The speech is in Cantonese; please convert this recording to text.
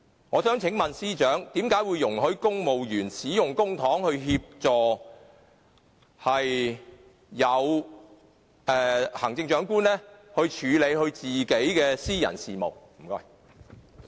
我想請問司長，為甚麼會容許公務員使用公帑，以協助行政長官處理他的私人事務？